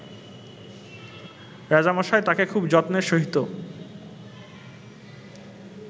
রাজামশাই তাকে খুব যত্নের সহিত